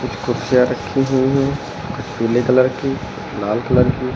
कुर्सियां रखी हुई है कुछ पीले कलर कि लाल कलर कि।